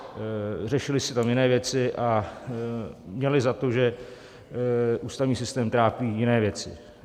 Řešily se tam jiné věci a měli za to, že ústavní systém trápí jiné věci.